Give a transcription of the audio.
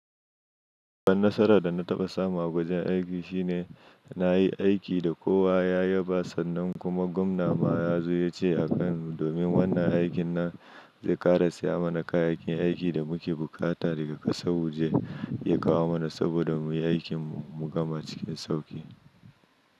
Babban nasarar da na taɓa samu a wajen aiki shine na yi aiki da kowa, ya yaba sannan kuma gwamna ma ya zo ya ce a kan mu domin wannan aikin na zai ƙara saya mana kayayyakin aikin da muke buƙata daga ƙasar waje ya kawo mana saboda mu yi aikin mu gama cikin sauƙi.